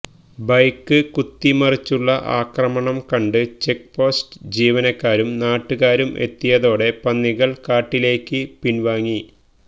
bike കുത്തിമറിച്ചുള്ള ആക്രമണം കണ്ട് ചെക്ക് പോസ്റ്റ് ജീവനക്കാരും നാട്ടുകാരും എത്തിയതോടെ പന്നികള് കാട്ടിലേക്ക് പിന്വാങ്ങി